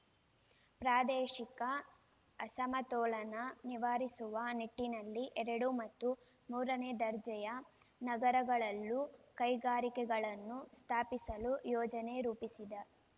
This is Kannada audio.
ಪ್ರಾದೇಶಿಕ ಅಸಮತೋಲನ ನಿವಾರಿಸುವ ನಿಟ್ಟಿನಲ್ಲಿ ಎರಡು ಮತ್ತು ಮೂರನೇ ದರ್ಜೆಯ ನಗರಗಳಲ್ಲೂ ಕೈಗಾರಿಕೆಗಳನ್ನು ಸ್ಥಾಪಿಸಲು ಯೋಜನೆ ರೂಪಿಸಿದೆ